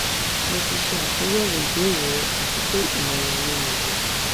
mo ti ṣe atunyẹwo ibeere rẹ ati pe imọran mi niyi